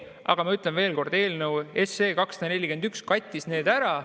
Aga ma ütlen veel kord, et eelnõu 241 kattis need ära.